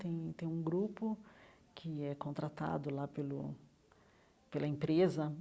Tem tem um grupo que é contratado lá pelo pela empresa.